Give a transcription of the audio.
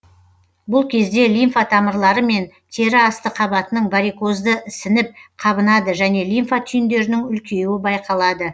бұл кезде лимфа тамырлары мен тері асты қабатының варикозды ісініп қабынады және де лимфа түйіндерінің үлкеюі байқалады